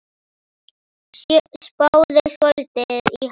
Spáðu svolítið í hann.